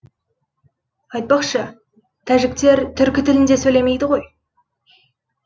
айтпақшы тәжіктер түркі тілінде сөйлемейді ғой